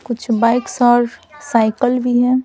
कुछ bikes cycle भी हैं।